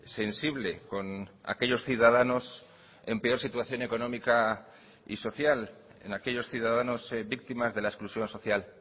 sensible con aquellos ciudadanos en peor situación económica y social en aquellos ciudadanos víctimas de la exclusión social